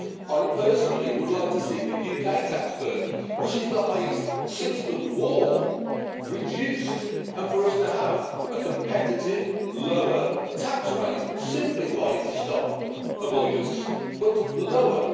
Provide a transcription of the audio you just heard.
I personally would like to see the UK tax burden, which is the highest since the war, reduced, and I would like us to have a competitive lower tax rate, simplified to stop avoidance but lower.